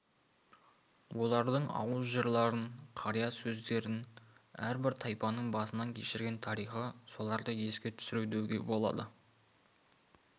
олардың ауыз жырларын қария сөздерін әрбір тайпаның басынан кешіреген тарихы соларды еске түсіру деуге болады